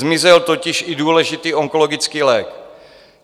Zmizel totiž i důležitý onkologický lék.